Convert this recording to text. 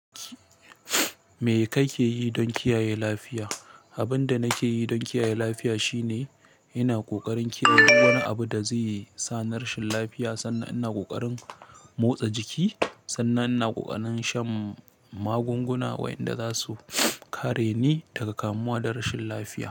Me kake yi don kiyaye lafiya? Abin da nake yi don kiyaye lafiya shine ina ƙoƙarin kiyaye wani abu da zai sa ni rashin lafiya, sannan ina ƙoƙarin motsa jiki, sannan ina ƙoƙarin shan magunguna waɗanda za su kare ni daga kamuwa da rashin lafiya.